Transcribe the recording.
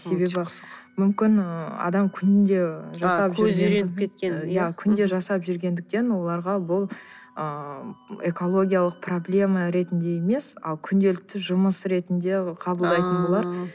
себебі мүмкін ы адам күнде кеткен иә күнде жасап жүргендіктен оларға бұл ыыы экологиялық проблема ретінде емес ал күнделікті жұмыс ретінде қабылдайтын болар